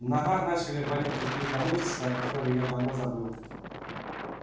в ногах начали болеть какие-то мышцы о который я давно забыл